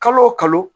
Kalo o kalo